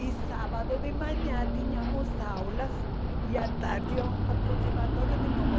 E sábado de manhã tínhamos aulas e à tarde íamos para o conservatório de novo.